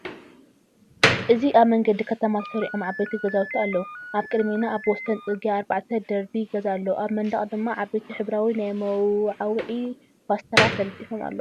እዚ ኣብ መንገዲ ከተማ ተሰሪዖም ዓበይቲ ገዛውቲ ኣለዉ። ኣብ ቅድሜና ኣብ ወሰን ጽርግያ ኣርባዕተ ደርቢ ገዛ ኣሎ፣ ኣብ መንደቕ ድማ ዓበይቲ ሕብራዊ ናይ መወዓውዒ ፖስተራት ተለጢፉ ኣሎ።